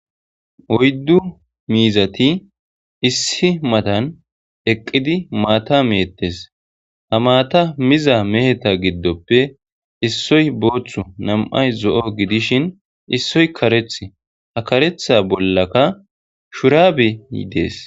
Oyddu miizati issi matan eqqidi maata metees; ha maata miza meheta giddope issoy boothu nam'ay zo'o gidishin issoy karethi ha karetha bollaka shurabey dess.